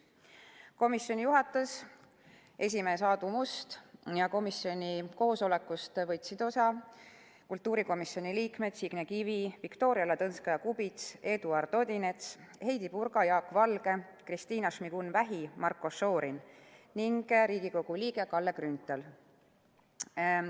Komisjoni juhatas esimees Aadu Must ja komisjoni koosolekust võtsid osa kultuurikomisjoni liikmed Signe Kivi, Viktoria Ladõnskaja-Kubits, Eduard Odinets, Heidy Purga, Jaak Valge, Kristina Šmigun-Vähi, Marko Šorin ning Riigikogu liige Kalle Grünthal.